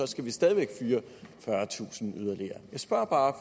skal vi stadig væk fyre fyrretusind yderligere jeg spørger bare